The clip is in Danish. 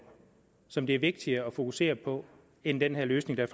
som det er vigtigere at fokusere på end den løsning der